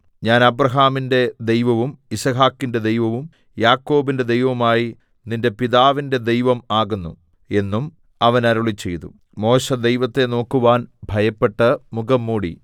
ഞാൻ അബ്രാഹാമിന്റെ ദൈവവും യിസ്ഹാക്കിന്റെ ദൈവവും യാക്കോബിന്റെ ദൈവവുമായി നിന്റെ പിതാവിന്റെ ദൈവം ആകുന്നു എന്നും അവൻ അരുളിച്ചെയ്തു മോശെ ദൈവത്തെ നോക്കുവാൻ ഭയപ്പെട്ട് മുഖം മൂടി